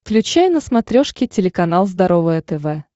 включай на смотрешке телеканал здоровое тв